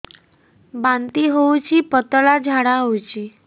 ବାନ୍ତି ହଉଚି ପତଳା ଝାଡା ହଉଚି